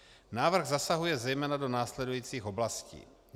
Návrh zasahuje zejména do následujících oblastí: